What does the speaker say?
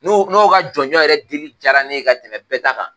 N'o n'o ka jɔnjɔn yɛrɛ dili diyara ne ye ka tɛmɛ bɛɛ ta kan.